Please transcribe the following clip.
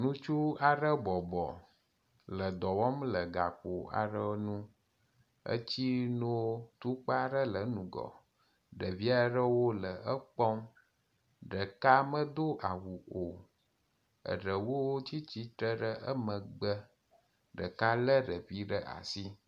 Ŋutsu aɖe bɔbɔ le dɔwɔm le gakpo aɖe ŋu, etsi no tukpa aɖe le eŋgɔ, ɖevi aɖewo le ekpɔm, ɖeka medo awu o, eɖewo tsitre ɖe emegbe, ɖeka le ɖevi ɖe asi